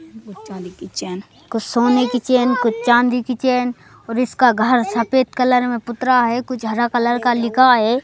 चांदी की चैन कुछ सोने की चैन कुछ चांदी की चैन और इसका घर सफेद कलर में पुतरा है कुछ हरा कलर का लिखा है।